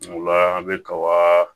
Ola an bɛ kaba